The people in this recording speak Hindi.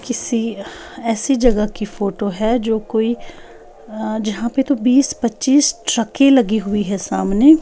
किसी ऐसी जगह की फोटो है जो कोई अ जहां पे तो बीस-पच्चीस ट्रकें लगी हुई हैं सामने।